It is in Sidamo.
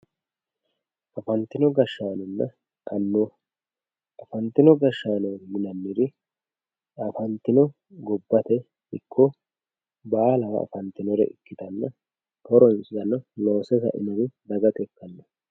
Afanitino gashanonna anuwa afantino gashano yinaniri afantino gobate iko balawa afantinore ikitana horonsano loose sainori dagate ikano